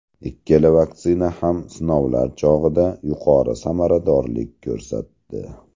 Ikkala vaksina ham sinovlar chog‘ida yuqori samaradorlik ko‘rsatdi.